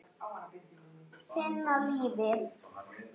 Finna lífið.